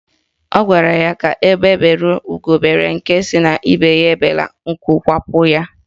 Ọ gwara ya ka egbe bere ugo bere, nke sị ibe ya ebela, nku kwapụ ya.